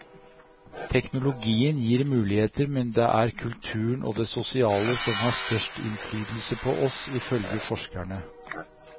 Teknologien gir muligheter, men det er kulturen og det sosiale som har størst innflytelse på oss, ifølge forskerne.